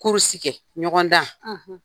kɛ, ɲɔgɔn dan.